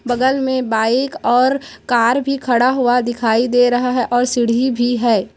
बगल मे बाइक और कार भी खड़ा हुआ दिखाई दे रहा है और सीढ़ी भी है।